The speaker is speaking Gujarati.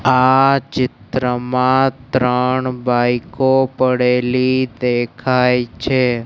આ ચિત્રમાં ત્રણ બાઈકો પડેલી દેખાય છે.